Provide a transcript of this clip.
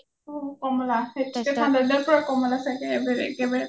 অ কমলা ঠাণ্ডা দিনত চাগে কমলা চাগে একেবাৰে